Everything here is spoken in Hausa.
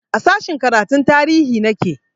A sashen karatun tarihi nake